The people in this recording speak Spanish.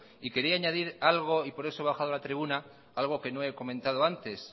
y quería añadir algo y por eso he bajado a la tribuna algo que no he comentado antes